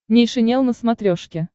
нейшенел на смотрешке